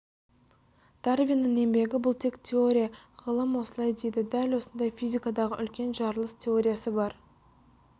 дарвиннің еңбегі бұл тек теория ғылым осылай дейді дәл осындай физикадағы үлкен жарылыс теориясы бар